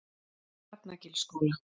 Hrafnagilsskóla